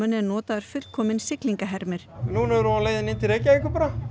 er notaður fullkominn núna erum við á leiðinni inn til Reykjavíkur